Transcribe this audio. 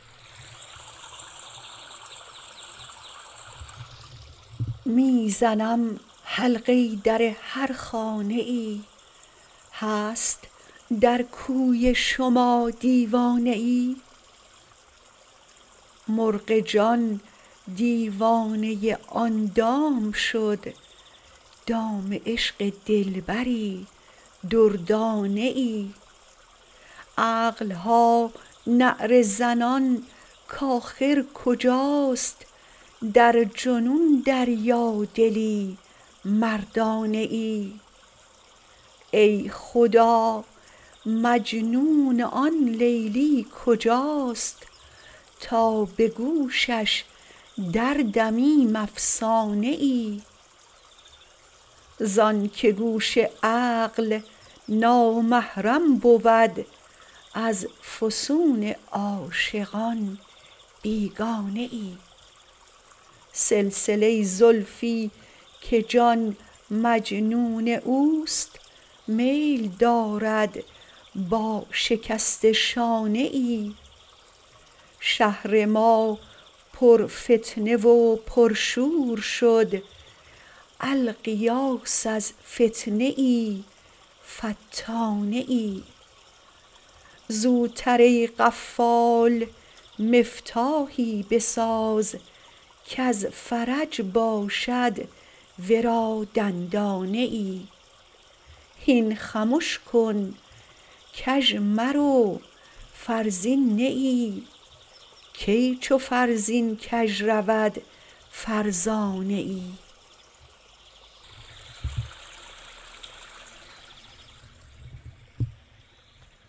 می زنم حلقه در هر خانه ای هست در کوی شما دیوانه ای مرغ جان دیوانه آن دام شد دام عشق دلبری دردانه ای عقل ها نعره زنان کآخر کجاست در جنون دریادلی مردانه ای ای خدا مجنون آن لیلی کجاست تا به گوشش دردمیم افسانه ای زانکه گوش عقل نامحرم بود از فسون عاشقان بیگانه ای سلسله زلفی که جان مجنون او است میل دارد با شکسته شانه ای شهر ما پرفتنه و پرشور شد الغیاث از فتنه فتانه ای زوتر ای قفال مفتاحی بساز کز فرج باشد ورا دندانه ای هین خمش کن کژ مرو فرزین نه ای کی چو فرزین کژ رود فرزانه ای